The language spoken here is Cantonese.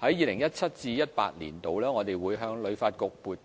在 2017-2018 年度，我們會向旅發局撥